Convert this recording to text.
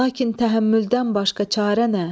Lakin təhəmmüldən başqa çarə nə?